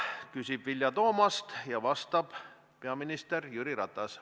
Küsib Vilja Toomast ja vastab peaminister Jüri Ratas.